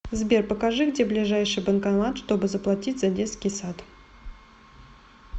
сбер покажи где ближайший банкомат чтобы заплатить за детский сад